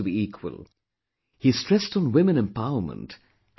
He stressed on women empowerment and respect for women